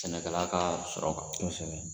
Sɛnɛkɛla ka sɔrɔ kan